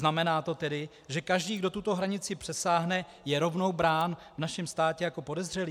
Znamená to tedy, že každý, kdo tuto hranici přesáhne, je rovnou brán v našem státě jako podezřelý?